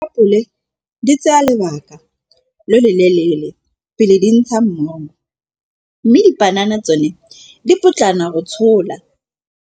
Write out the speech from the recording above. Diapole di tsaya lobaka lo loleele pele di ntsha maungo, mme dipanana tsone di potlana go tshola.